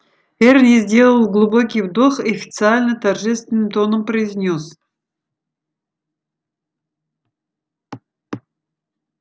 эрни сделал глубокий вдох и официально торжественным тоном произнёс